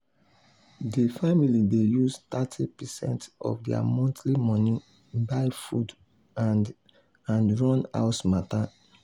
the family dey use thirty percent of their monthly money buy food and and run house matter.